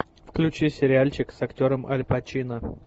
включи сериальчик с актером аль пачино